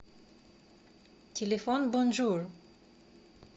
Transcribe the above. телефон бонжур